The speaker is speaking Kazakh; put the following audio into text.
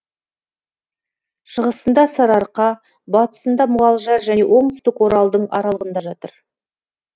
шығысында сарыарқа батысында мұғалжар және оңтүстік оралдың аралығында жатыр